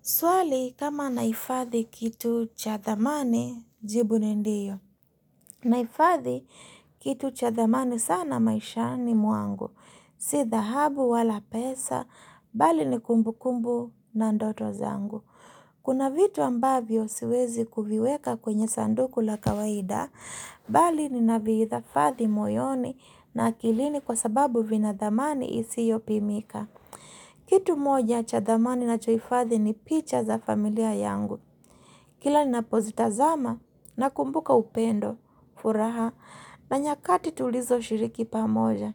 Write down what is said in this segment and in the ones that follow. Swali kama na hifadhi kitu cha thamani jibu ni ndiyo. Naifadhi kitu cha thamani sana maisha ni mwangu. Si dhahabu wala pesa, bali ni kumbu kumbu na ndoto zangu. Kuna vitu ambavyo siwezi kuviweka kwenye sanduku la kawaida, bali ni navihifadhi moyoni na akilini kwa sababu vinathamani isiopimika. Kitu moja cha thamani ninachohifadhi ni picha za familia yangu. Kila ninapozitazama, nakumbuka upendo, furaha, na nyakati tulizo shiriki pamoja.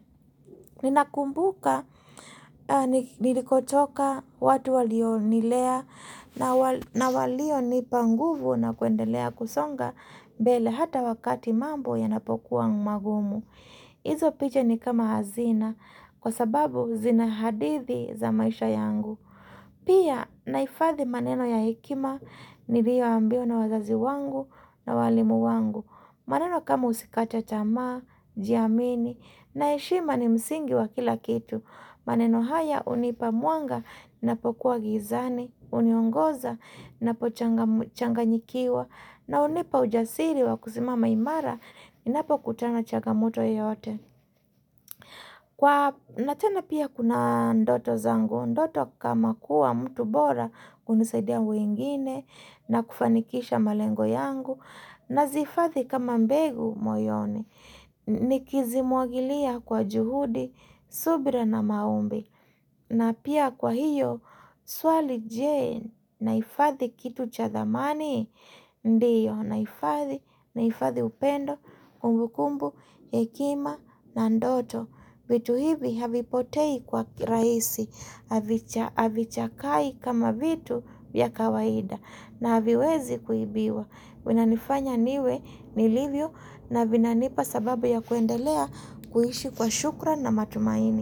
Ninakumbuka, nilikotoka, watu walionilea, na walionipa nguvu na kuendelea kusonga mbele hata wakati mambo yanapokuwa magumu. Hizo picha ni kama hazina kwa sababu zina hadithi za maisha yangu. Pia nahifadhi maneno ya hekima nilio ambiwa na wazazi wangu na walimu wangu. Maneno kama usikate tamaa, jiamini na heshima ni msingi wa kila kitu. Maneno haya hunipa mwanga ninapokuwa gizani, huniongoza ninapochanganyikiwa na hunipa ujasiri wa kusimama imara ninapokutana na chagamoto yoyote. Kwa na tena pia kuna ndoto zangu, ndoto kama kuwa mtu bora hunisaidia mwingine na kufanikisha malengo yangu nazifadhi kama mbegu moyoni. Ni kizimwagilia kwa juhudi, subira na maimbi na pia kwa hiyo, swali je nahifadhi kitu cha thamani Ndiyo, naifadhi, naifadhi upendo, kumbukumbu, hekima na ndoto vitu hivi havipotei kwa rahisi Havichakai kama vitu vya kawaida na haviwezi kuibiwa vinanifanya niwe nilivyo na vinanipa sababu ya kuendelea kuishi kwa shukrani na matumaini.